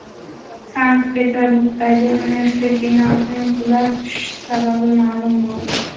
Sankt-Peterburgdagi universitet binosining qulab tushishi sababi ma’lum bo‘ldi.